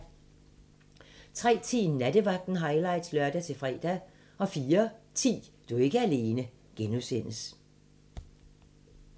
03:10: Nattevagten highlights (lør-fre) 04:10: Du er ikke alene (G)